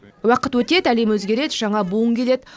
уақыт өтеді әлем өзгереді жаңа буын келеді